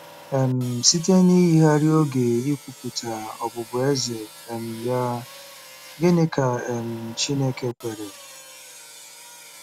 um Site n'iyigharị oge ikwupụta ọbụbụeze um ya, gịnị ka um Chineke kwere?